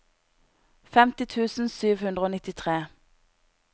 femti tusen sju hundre og nittitre